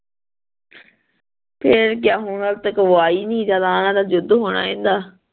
ਫੇਰ ਕਿਆ ਹੁਣ ਓ ਹਜੇ ਤੱਕ ਵੋ ਆਈ ਨੀ ਜਦੋਂ ਆਣਾ ਜਾ ਯੁੱਧ ਹੋਣਾ ਇੰਦਾ